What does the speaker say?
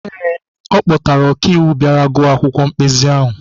Ee, ọ kpọtara okaiwu bịara gụọ akwụkwọ mkpezi ahụ.